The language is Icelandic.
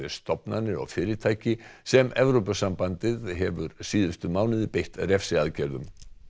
stofnanir og fyrirtæki sem Evrópusambandið hefur síðustu mánuði beitt refsiaðgerðum